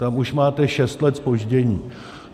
Tam už máte šest let zpoždění.